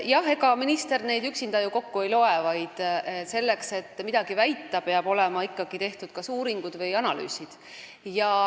Jah, ega minister neid üksinda ju kokku ei loe, vaid selleks, et midagi väita, peavad olema ikkagi tehtud kas uuringud või analüüsid.